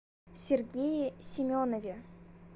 сергее семенове